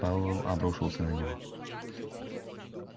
пауэлл обрушился на него